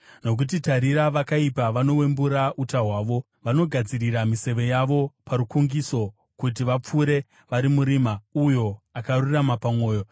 Nokuti tarira, vakaipa vanowembura uta hwavo; vanogadzirira miseve yavo parukungiso, kuti vapfure vari murima, uyo akarurama pamwoyo.